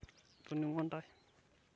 itoningo ntae